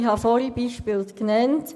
Ich habe zuvor Beispiele genannt.